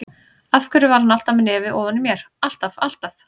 Af hverju var hún alltaf með nefið ofan í mér, alltaf, alltaf.